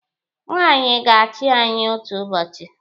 Nwaanyị ga-achị anyị otu ụbọchị.